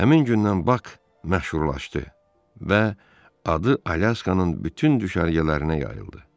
Həmin gündən Bak məşhurlaşdı və adı Alyaskanın bütün düşərgələrinə yayıldı.